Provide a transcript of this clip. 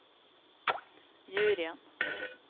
juryen